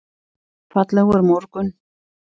Fallegur morgun!